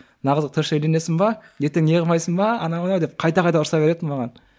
мына қызға точно үйленесің бе ертең не қылмайсың ба анау мынау деп қайта қайта ұрса беретін маған